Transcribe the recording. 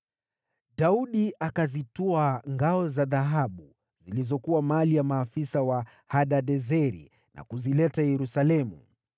Daudi akazitwaa ngao za dhahabu zilizokuwa za maafisa wa Hadadezeri na kuzileta Yerusalemu.